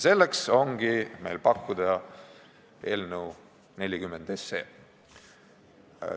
Selleks ongi meil pakkuda eelnõu 40.